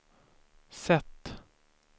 sätt